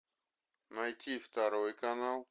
найти второй канал